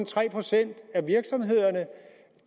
tre procent af virksomhederne